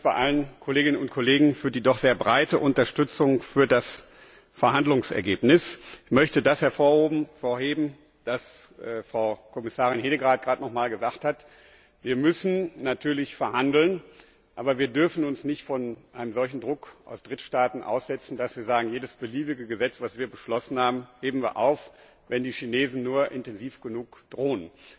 Ich bedanke mich bei allen Kolleginnen und Kollegen für die doch sehr breite Unterstützung für das Verhandlungsergebnis. Ich möchte das hervorheben, was Frau Kommissarin Hedegaard gerade nochmals gesagt hat Wir müssen natürlich verhandeln, aber wir dürfen uns nicht einem solchen Druck aus Drittstaaten aussetzen, dass wir sagen, jedes beliebige Gesetz, das wir beschlossen haben, heben wir auf, wenn die Chinesen nur intensiv genug drohen.